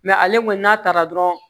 ale kɔni n'a taara dɔrɔn